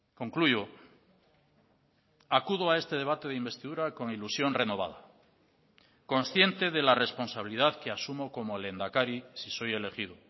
concluyo acudo a este debate de investidura con ilusión renovada consciente de la responsabilidad que asumo como lehendakari si soy elegido